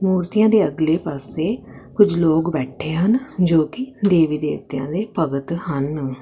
ਮੂਰਤੀਆਂ ਦੀ ਅਗਲੇ ਪਾਸੇ ਕੁਝ ਲੋਕ ਬੈਠੇ ਹਨ ਜੋ ਕਿ ਦੇਵੀ ਦੇਵਤਿਆਂ ਦੇ ਭਗਤ ਹਨ।